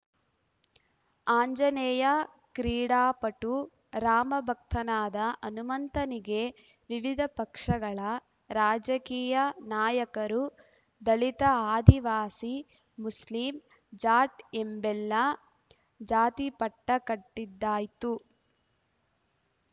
ಆಂಜನೇಯ ಕ್ರೀಡಾಪಟು ರಾಮ ಭಕ್ತನಾದ ಹನುಮಂತನಿಗೆ ವಿವಿಧ ಪಕ್ಷಗಳ ರಾಜಕೀಯ ನಾಯಕರು ದಲಿತ ಆದಿವಾಸಿ ಮುಸ್ಲಿಂ ಜಾಟ್‌ ಎಂಬೆಲ್ಲಾ ಜಾತಿಪಟ್ಟಕಟ್ಟಿದ್ದಾಯ್ತು